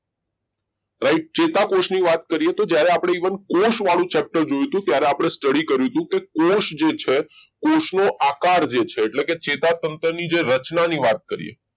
ચેતાકોષની વાત કરીએ તો જ્યારે આપણે જીવન કોશવાળું chapter જોઈતું ત્યારે ત્યારે study કર્યું હતું કોષ જે છે કોષનો આકાર જે છે એટલે કે ચેતાતંત્રની રચના ની વાત કરીએ